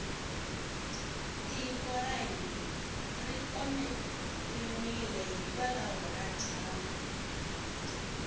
tiko ra hina ri omeriwile hikwalaho ka dyambu